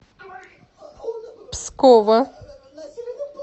пскова